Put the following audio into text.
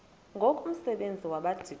ngoku umsebenzi wabadikoni